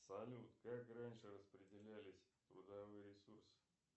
салют как раньше распределялись трудовые ресурсы